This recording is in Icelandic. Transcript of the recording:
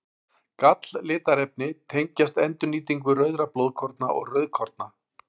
Galllitarefni tengjast endurnýtingu rauðra blóðkorna eða rauðkorna.